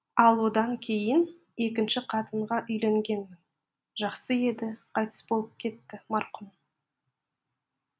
ал одан кейін екінші қатынға үйленгенмін жақсы еді қайтыс болып кетті марқұм